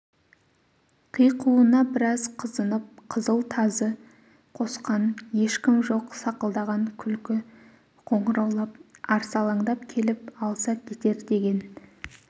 қиқуына бірақ қызынып қызыл тазы қосқан ешкім жоқ сақылдаған күлкс қоңыраулап арсалаңдап келіп алыса кетер деген